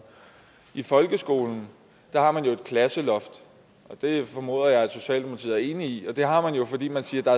i folkeskolen har man jo et klasseloft det formoder jeg at socialdemokratiet er enig i og det har man jo fordi man siger at der